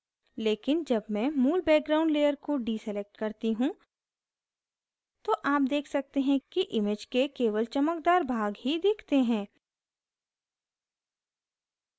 लेकिन जब मैं मूल background layer को deselect करती हूँ तो आप देख सकते हैं कि image के केवल चमकदार भाग ही दिखते हैं